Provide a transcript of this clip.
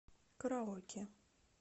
караоке